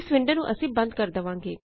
ਇਸ ਵਿੰਡੋ ਨੂੰ ਅਸੀਂ ਬੰਦ ਕਰ ਦਵਾਂਗੇ